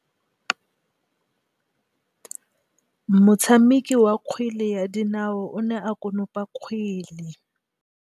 Motshameki wa kgwele ya dinaô o ne a konopa kgwele.